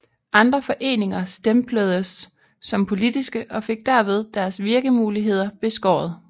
Andre foreninger stempledes som politiske og fik derved deres virkemuligheder beskåret